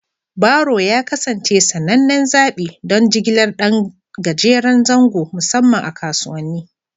Baro ya kasance sanannen zaɓi don jigilar ɗan gajeren zango, musamman a kasuwanni.